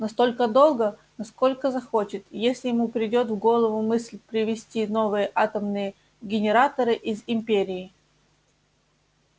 настолько долго насколько захочет если ему придёт в голову мысль привезти новые атомные генераторы из империи